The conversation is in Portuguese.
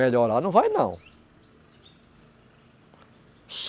Melhorar não vai, não.